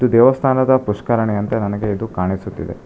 ದೇವಸ್ಥಾನದ ಪುಷ್ಕರಣಿಯಂತೆ ನನಗೆ ಇದು ಕಾಣಿಸುತ್ತಿದೆ.